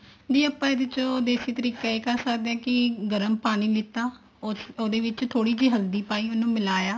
ਦੀਦੀ ਆਪਾਂ ਇਹਦੇ ਚ ਦੇਸੀ ਤਰੀਕਾ ਇਹ ਕਰ ਆਕੜੇ ਹਾਂ ਵੀ ਗਰਮ ਪਾਣੀ ਲਿੱਤਾ ਉਹਦੇ ਵਿੱਚ ਥੋੜੀ ਜੀ ਹਲਦੀ ਪਾਈ ਉਹਨੂੰ ਮਿਲਾਇਆ